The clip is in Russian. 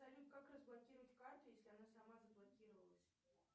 салют как разблокировать карту если она сама заблокировалась